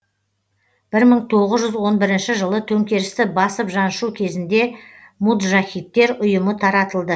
бір мың тоғыз жүз он бірінші жылы төңкерісті басып жаншу кезінде муджахидтер ұйымы таратылды